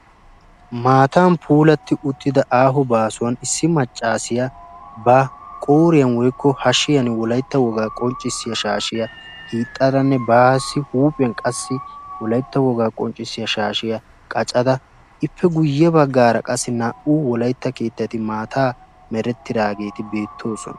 Maatan puulatti uttida aaho baasuwan issi macaasiyaa ba qooriyan woykko hashiyan wolaytta wogaa qonccissiya shaashiya wottadanne baassi huuphiyan qassi wolayitta wogaa qonccissiya shaashiya qacada iippe guyye baggaara qassi naa"u wolaytta keettati maataa merettidaageeti beettoosona.